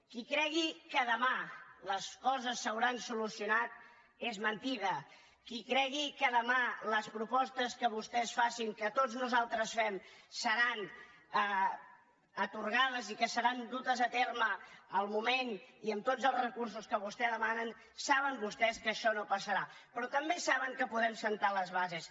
qui cregui que demà les coses s’hauran solucionat és mentida qui cregui que demà les propostes que vostès facin que tots nosaltres fem seran atorgades i que seran dutes a terme al moment i amb tots els recursos que vostès demanen saben vostès que això no passarà però també saben que podem assentar les bases